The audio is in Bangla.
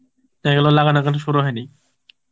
এগুলো লাগানো এখনো শুরু হয়নি